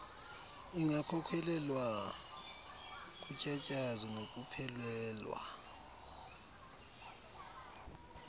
ingakhokhelela kutyatyazo nokuphelelwa